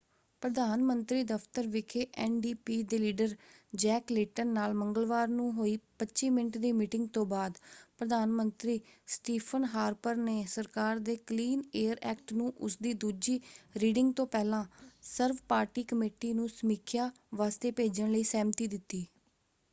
ਪ੍ਰਧਾਨ ਮੰਤਰੀ ਦਫ਼ਤਰ ਵਿਖੇ ਐਨ.ਡੀ.ਪੀ. ਦੇ ਲੀਡਰ ਜੈਕ ਲੇਟਨ ਨਾਲ ਮੰਗਲਵਾਰ ਨੂੰ ਹੋਈ 25 ਮਿੰਟ ਦੀ ਮੀਟਿੰਗ ਤੋਂ ਬਾਅਦ ਪ੍ਰਧਾਨ ਮੰਤਰੀ ਸਟੀਫ਼ਨ ਹਾਰਪਰ ਨੇ ਸਰਕਾਰ ਦੇ ਕਲੀਨ ਏਅਰ ਐਕਟ” ਨੂੰ ਉਸਦੀ ਦੂਜੀ ਰੀਡਿੰਗ ਤੋਂ ਪਹਿਲਾਂ ਸਰਵ-ਪਾਰਟੀ ਕਮੇਟੀ ਨੂੰ ਸਮੀਖਿਆ ਵਾਸਤੇ ਭੇਜਣ ਲਈ ਸਹਿਮਤੀ ਦਿੱਤੀ।